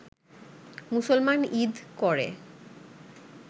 মুসলমান ঈদ করে